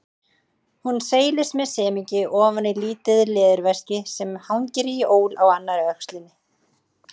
Hún seilist með semingi ofan í lítið leðurveski sem hangir í ól á annarri öxlinni.